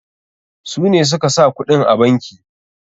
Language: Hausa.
Su ne suka sa kuɗin a banki.